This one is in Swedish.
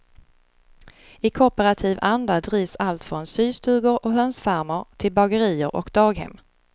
I kooperativ anda drivs allt från systugor och hönsfarmer, till bagerier och daghem.